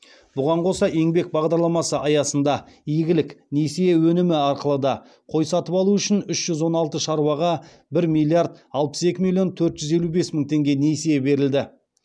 бұған қоса еңбек бағдарламасы аясында игілік несие өнімі арқылы да қой сатып алу үшін үш жүз он алты шаруаға бір миллиард алпыс екі миллион төрт жүз елу бес мың теңге несие берілді